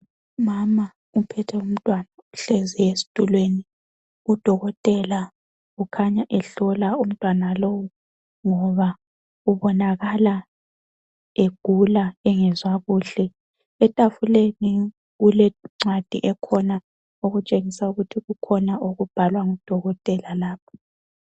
Umama uphethe umntwana uhlezi estulweni, udokotela ukhanya ehlola umntwana lowu ngoba ubonakala egula engezwa kuhle. Etafuleni kulencwadi ekhona okutshengisa ukuthi kukhona okubhalwa ngodokotela lapha.